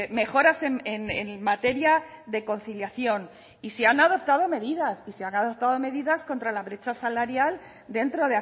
mejoras en materia de conciliación y se han adoptado medidas y se han adoptado medidas contra la brecha salarial dentro